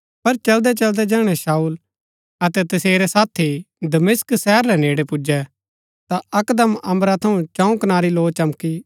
पर चलदै चलदै जैहणै शाऊल अतै तसेरै साथी दमिश्क शहर रै नेड़ै पुजु ता अकदम अम्बरा थऊँ चंऊ कनारी लौ चमकी